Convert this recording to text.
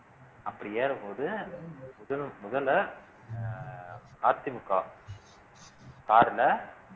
அப்படி ஏறும்போது முதல் முதல்ல அஹ் அதிமுக car ல